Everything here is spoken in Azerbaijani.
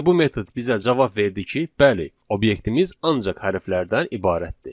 Yenə bu metod bizə cavab verdi ki, bəli, obyektimiz ancaq hərflərdən ibarətdir.